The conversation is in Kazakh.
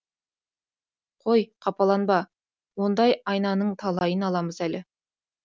қой қапаланба ондай айнаның талайын аламыз әлі